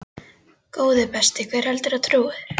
Góði besti, hver heldurðu að trúi þér?